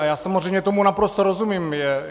A já samozřejmě tomu naprosto rozumím.